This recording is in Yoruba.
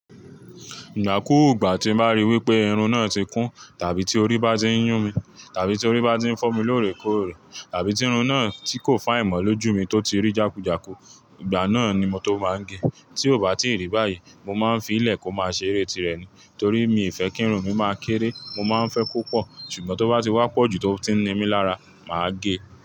Ìgbà kúù, ìgbà tí màá ri wípé irun náà ti kún, tàbí tí orí bá ti ń yún mi, tàbí tí orí bá ti ń fọ́ mi lóòrèkóòrè, tàbí tí irun náà tí kò fáì ìmọ̀lójú mi tó ti rí jákújàkù, ìgbà náà ni mo tó máa ń gẹ̀ẹ́. Tí ò bá tíì rí báyìí, mo máa ń fi ílẹ̀ kó máa ṣeré tirẹ̀ ni. Torí mi ì fẹ́ kí irun mi máa kéré, mo má n fẹ́ kó pọ̀. Ṣùgbọ́n to ba ti wa poju to ti n ni mi lára, máa ge.